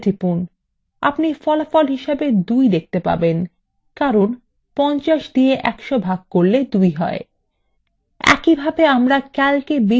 আপনি ফলাফল হিসাবে 2 দেখতে পাবেন কারণ 50 দিয়ে 100 ভাগ করলে ফল 2 you